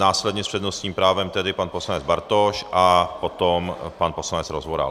Následně s přednostním právem tedy pan poslanec Bartoš a potom pan poslanec Rozvoral.